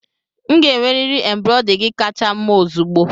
M ga-enwerịrị embrade gi kacha mma ozugbo